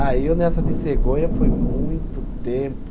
Ah, e eu nessa de cegonha foi muito tempo.